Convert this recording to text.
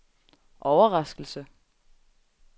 overraskelse